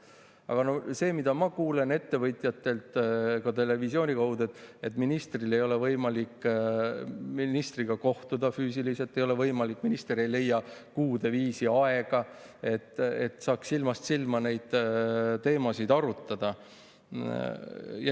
Aga ma kuulen ettevõtjatelt ka televisiooni kaudu, et ei ole võimalik ministriga kohtuda, füüsiliselt ei ole võimalik, minister ei leia kuude viisi aega, et silmast silma neid teemasid arutada.